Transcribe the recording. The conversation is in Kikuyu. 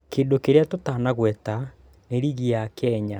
Kĩndũ kĩrĩa tũtanagweta nĩ rĩgi ya Kenya